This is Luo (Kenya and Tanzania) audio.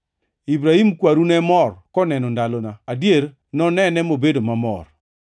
Ibrahim kwaru ne mor koneno ndalona; adier, nonene mobedo mamor.”